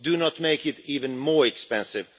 Do not make it even more expensive.